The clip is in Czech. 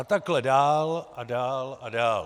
A takhle dál a dál a dál.